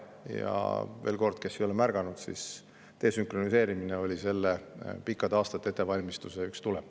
Veel kord ütlen neile, kes ei ole märganud, et desünkroniseerimine oli selle pikkade aastate jooksul toimunud ettevalmistuse üks tulem.